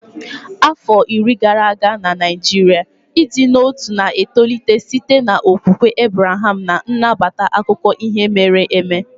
Afọ iri gara aga na Naijiria, ịdị n'otu na-etolite site n'okwukwe Abreham na-anabata akụkọ ihe mere eme.